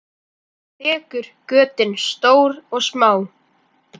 Þekur götin stór og smá.